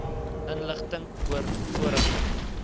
inligting oor vorige